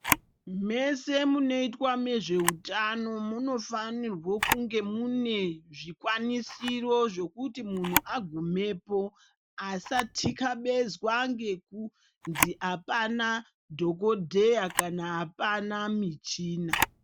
Mese munoitwa nezve hutano munofanirwa kunge mune zvikwanisiro zvekuti munhu agumepa asa tikabezwa ngekunzi apana dhokodheya kana apana michina.